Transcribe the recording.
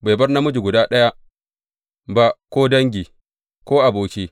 Bai bar namiji guda ɗaya ba, ko dangi, ko aboki.